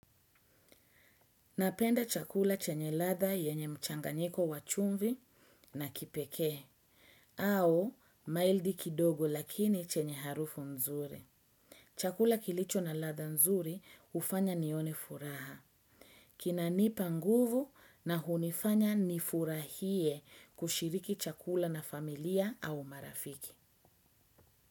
Napenda chakula chenye ladha yenye mchanganyiko wachumvi na kipekee, au maildi kidogo lakini chenye harufu nzuri. Chakula kilicho na ladha nzuri hufanya nione furaha. Kinanipa nguvu na hunifanya nifurahie kushiriki chakula na familia au marafiki.